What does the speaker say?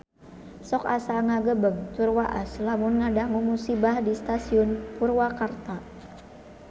Sok asa ngagebeg tur waas lamun ngadangu musibah di Stasiun Purwakarta